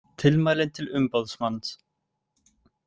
Tilmælin til umboðsmanns